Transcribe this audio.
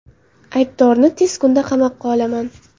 Aybdorni tez kunda qamoqqa olaman.